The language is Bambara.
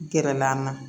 Gɛrɛla an na